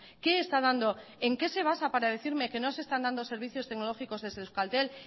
qué está dando en qué se basa para decirme que no se están dando servicios tecnológicos desde euskaltel